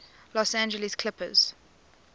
los angeles clippers